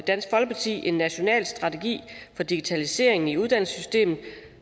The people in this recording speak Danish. dansk folkeparti en national strategi for digitalisering i uddannelsessystemet